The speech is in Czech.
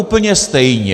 Úplně stejně!